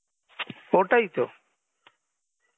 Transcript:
ওটাই তো